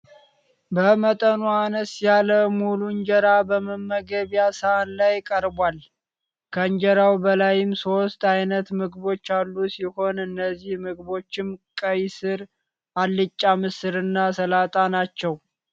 በመጠኑ አነስ ያለ ሙሉ እንጀራ በመመገቢያ ሳህን ላይ ቀርቧል። ከእንጀራው በላይም ሶስት አይነት ምግቦች ያሉ ሲሆን እነዚህ ምግቦችም ቀይ ስር፣ አልጫ ምስር እና ሰላጣ ናቸው።